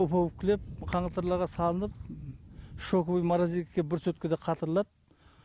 упаковкілеп қаңылтырларға салынып шоковый морозилькіге бір суткада қатырылады